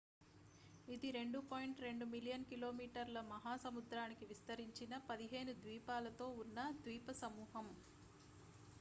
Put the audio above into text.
ఇది 2.2 మిలియన్ కిలోమీటర్ల మహా సముద్రానికి విస్తరించిన 15 ద్వీపాలతో ఉన్న ద్వీపసమూహం